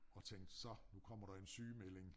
Og tænkte så nu kommer der en sygemelding